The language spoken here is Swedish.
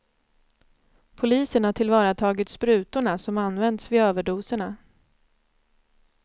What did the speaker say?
Polisen har tillvaratagit sprutorna som använts vid överdoserna.